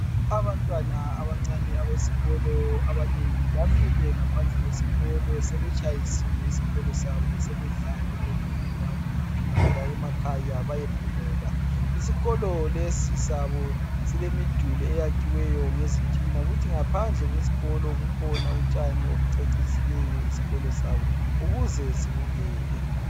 Abantwana abancane besikolo abanengi bamile ngaphandle kwesikolo sebetshayisile esikolo sabo sebedlala belungela ukuphindela emakhaya bayephumula. Isikolo lesi sabo silemiduli eyakhiweyo ngezitina kuthi ngaphandle kwesikolo kukhona utshani obucecisileyo isikolo sabo ukuze sibukeke.